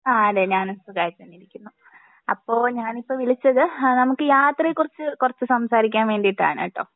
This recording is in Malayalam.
ആഹ് അതെ ഞാനും സുഖായിട്ട് തന്നെ ഇരിക്കുന്നു. അപ്പോ ഞാനിപ്പോ വിളിച്ചത് അഹ് നമുക്ക് യാത്രയെ കുറിച്ച് കുറച്ച് സംസാരിക്കാൻ വേണ്ടീട്ടാണ്‌ ട്ടോ